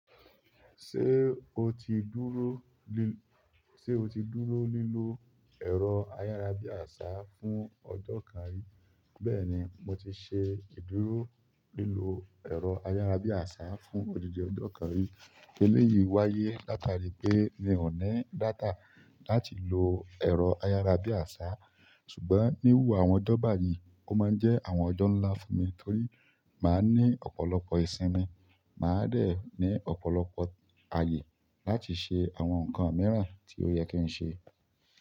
Ṣé o ti dúró lí, ṣe o ti dúró lílo ẹ̀rọ ayárabíàṣá fún ọjọ́ kan rí? Bẹ́ẹ̀ni, mo ti ṣe ìdúró lílo ẹ̀rọ ayárabíàṣá fún odidi ọjọ́ kan rí. Eléyìí wáyé látari pé mi ò ní data láti lo ẹ̀rọ ayárabíàṣá. Ṣùgbọ́n níwùú àwọn dọ́ba yí, ó máa ń jẹ́ àwọn ọjọ́ ńlá fún mi torí màá ní ọ̀pọ̀lọpọ̀ ìsinmi, màá dẹ̀ ní ọ̀pọ̀lọpọ̀ ayé láti ṣe àwọn nǹkan mìíràn tí ó yẹ kí n ṣe.